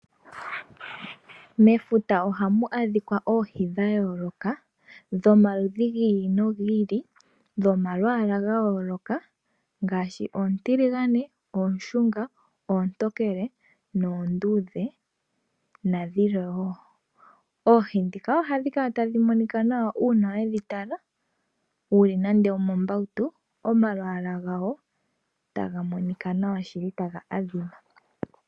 Mefuta oha mu adhika oohi dha yooloka, dhomaludhi gi ili no gili, dho malwaala ga yooloka, ngaashi oontiligane, oonshunga, oontokele noonduudhe, na dhilwe woo. Oohi ndhika oha dhi kala ta dhi monika nawa uuna we dhi tala, wu li nando omo mbautu, oma lwaaka gadho ta ga monika nawa ta ga adhima.